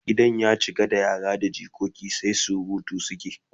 Gidan ya cika da yara da jikoki sai surutu suke